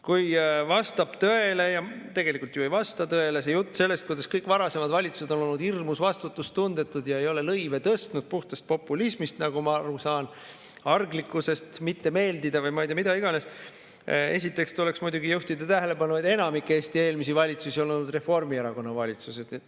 Kui vastab tõele – tegelikult ju ei vasta tõele – jutt sellest, kuidas kõik varasemad valitsused on olnud hirmus vastutustundetud ja nad ei ole lõive tõstnud puhtast populismist, nagu ma aru saan, arglikkusest mitte meeldida või, ma ei tea, mida iganes, siis esiteks tuleks muidugi juhtida tähelepanu sellele, et enamik Eesti eelmisi valitsusi on olnud Reformierakonna valitsused.